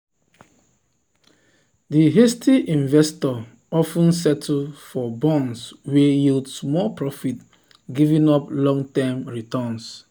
di hasty investor of ten settle for bonds wey yield small profit giving up long-term returns.